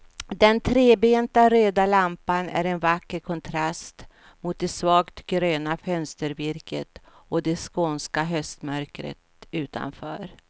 Den trebenta röda lampan är en vacker kontrast mot det svagt gröna fönstervirket och det skånska höstmörkret utanför.